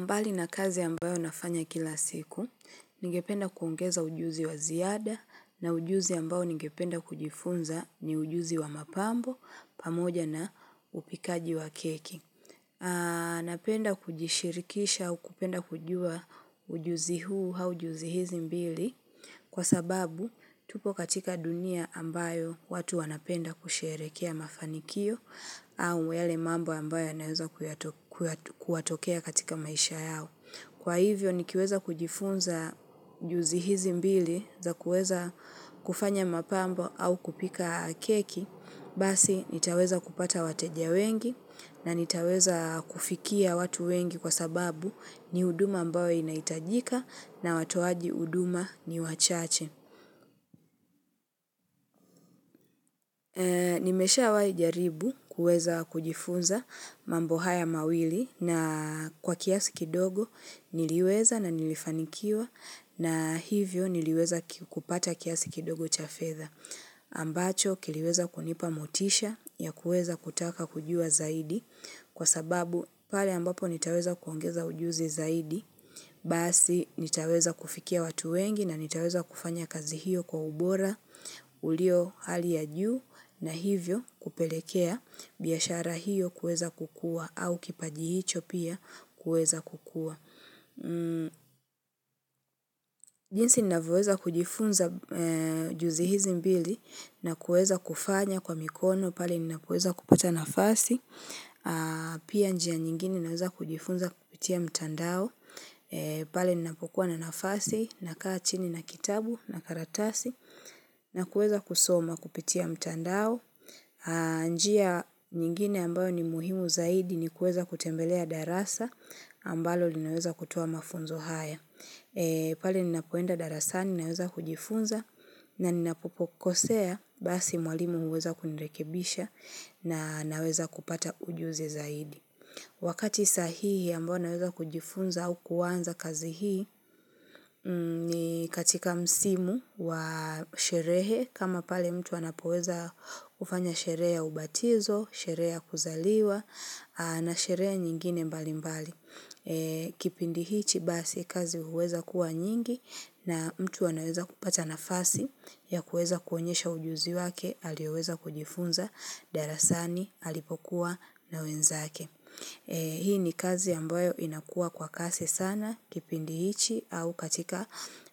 Mbali na kazi ambayo nafanya kila siku, ningependa kuongeza ujuzi wa ziada na ujuzi ambao ningependa kujifunza ni ujuzi wa mapambo, pamoja na upikaji wa keki. Napenda kujishirikisha au kupenda kujua ujuzi huu hau juzi hizi mbili. Kwa sababu, tupo katika dunia ambayo watu wanapenda kusherekea mafanikio au yale mambo ambayo naweza kuwatokea katika maisha yao. Kwa hivyo, nikiweza kujifunza juzi hizi mbili za kueza kufanya mapambo au kupika keki basi nitaweza kupata wateja wengi na nitaweza kufikia watu wengi kwa sababu ni huduma ambayo inahitajika na watoaji huduma ni wachache. Nimesha wahi jaribu kuweza kujifunza mambo haya mawili na kwa kiasi kidogo niliweza na nilifanikiwa na hivyo niliweza kupata kiasi kidogo cha fedha. Ambacho kiliweza kunipa motisha ya kuweza kutaka kujua zaidi kwa sababu pale ambapo nitaweza kuongeza ujuzi zaidi. Basi nitaweza kufikia watu wengi na nitaweza kufanya kazi hiyo kwa ubora ulio hali ya juu na hivyo kupelekea biashara hiyo kweza kukua. Au kipaji hicho pia kweza kukua. Jinsi ninavyoweza kujifunza juzi hizi mbili na kuweza kufanya kwa mikono pale ninapoweza kupata nafasi. Pia njia nyingine ninaweza kujifunza kupitia mtandao. Pale ninapokuwa na nafasi na kaa chini na kitabu na karatasi na kuweza kusoma kupitia mtandao. Njia nyingine ambayo ni muhimu zaidi ni kuweza kutembelea darasa ambalo linaweza kutoa mafunzo haya. Pale ninapoenda darasani naweza kujifunza na ninapokosea basi mwalimu huweza kunirekebisha na naweza kupata ujuzi zaidi. Wakati sahihi ambayo naweza kujifunza au kuwanza kazi hii ni katika msimu wa sherehe kama pale mtu anapoweza kufanya sherehe ya ubatizo, sherehe ya kuzaliwa na sherehe nyingine mbali mbali. Kipindi hichi basi kazi huweza kuwa nyingi na mtu anaweza kupata nafasi ya kuweza kuonyesha ujuzi wake alioweza kujifunza, darasani alipokuwa nawenzake. Hii ni kazi ambayo inakua kwa kasi sana kipindi hichi au katika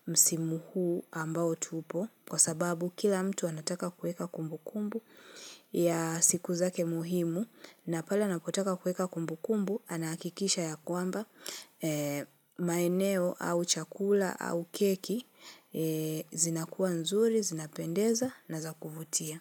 msimo huu ambao tupo kwa sababu kila mtu anataka kuweka kumbukumbu ya siku zake muhimu na pala nakotaka kuweka kumbukumbu anahakikisha ya kwamba maeneo au chakula au keki zinakuwa nzuri, zinapendeza na zakuvutia.